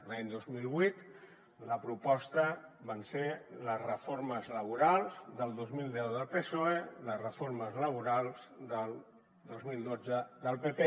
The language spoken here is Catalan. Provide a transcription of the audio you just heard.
l’any dos mil vuit la proposta van ser les reformes laborals del dos mil deu del psoe les reformes laborals del dos mil dotze del pp